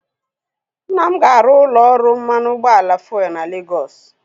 Nna m ga-arụ ụlọ ọrụ mmanụ ụgbọala fuelu na Legọs